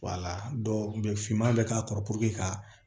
finman bɛ k'a kɔrɔ ka